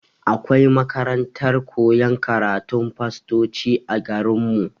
Akwai makarantar koyan karatun fastoci a garin mu.